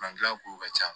kow ka ca